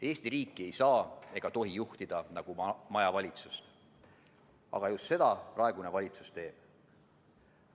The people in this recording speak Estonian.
Eesti riiki ei saa ega tohi juhtida nagu majavalitsust, aga just seda praegune valitsus teeb.